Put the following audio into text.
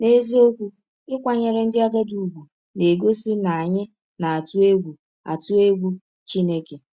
N’eziọkwụ, ịkwanyere ndị agadi ụgwụ na - egọsi na anyị na - atụ egwụ atụ egwụ Chineke!